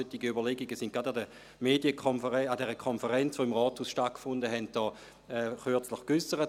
Solche Überlegungen wurden gerade an der Medienkonferenz, an der Konferenz, die im Rathaus stattfand, kürzlich geäussert.